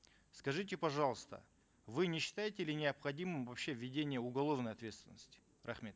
скажите пожалуйста вы не считаете ли необходимым вообще введение уголовной ответственности рахмет